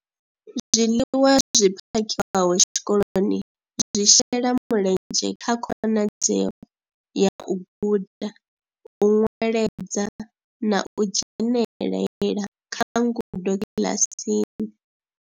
Zwiḽiwa zwi phakhiwaho tshikoloni zwi shela mulenzhe kha khonadzeo ya u guda, u nweledza na u dzhenelela kha ngudo kiḽasini.